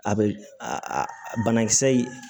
A bɛ a banakisɛ in